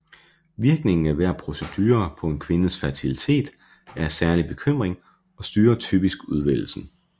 Virkningen af hver procedure på en kvindes fertilitet er af særlig bekymring og styrer typisk udvælgelsen